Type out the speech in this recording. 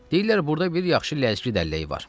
Deyirlər burda bir yaxşı Ləzgi dəlləyi var.